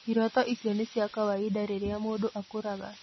Iroto icio nĩ cia kawaida rĩrĩa mũndũ akũraga.